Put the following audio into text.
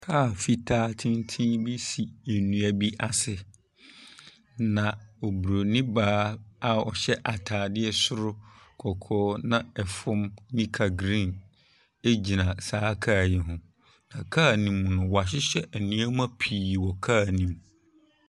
Kaa fitaa tenten bi si nnua bi ase. Na Oburonin baa a ɔhyɛ atadeɛ soro kɔkɔɔ na ɛfam nika green gyina saa kaa yi ho. Na kaa no mu no, wɔahyehyɛ nneɛma pii wɔ kaa no mu.